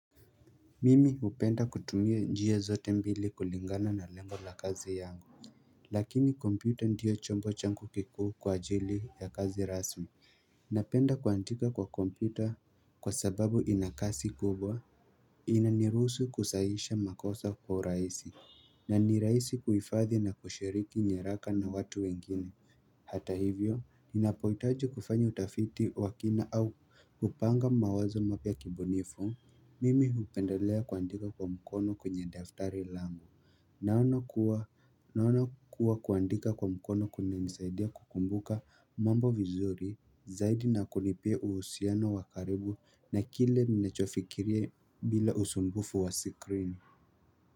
Mimi hupenda kutumia njia zote mbili kulingana na lengo la kazi yangu Lakini kompyuta ndio chombo changu kikuu kwa ajili ya kazi rasmi Napenda kuandika kwa kompyuta kwa sababu ina kasi kubwa inaniruhusu kusahisha makosa kwa raisi na ni raisi kuifadhi na kushiriki nyaraka na watu wengine Hata hivyo ninapoitaji kufanya utafiti wa kina au kupanga mawazo mapya kibunifu Mimi hupendelea kuandika kwa mkono kwenye daftari langu Naona kuwa kuandika kwa mkono kunanisaidia kukumbuka mambo vizuri Zaidi na kunipea uhusiano wakaribu na kile ninachofikiria bila usumbufu wa sikrini.